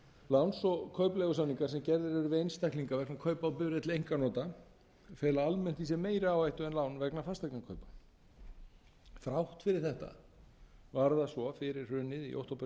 gerðir eru við einstaklinga vegna kaupa á bifreið til einkanota fela almennt í sér meiri áhættu en lán vegna fasteignakaupa þrátt fyrir þetta var það svo fyrir hrunið í október tvö þúsund og átta að